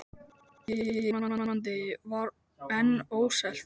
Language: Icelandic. Húsið í Hollandi var enn óselt.